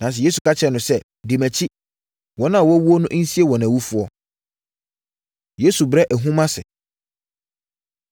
Nanso, Yesu ka kyerɛɛ no sɛ, “Di mʼakyi. Wɔn a wɔawu no nsie wɔn awufoɔ”. Yesu Brɛ Ahum Ase